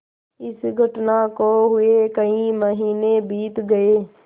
इस घटना को हुए कई महीने बीत गये